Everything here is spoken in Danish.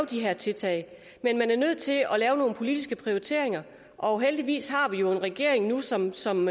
de her tiltag men man er nødt til at lave nogle politiske prioriteringer og heldigvis har vi jo nu en regering som som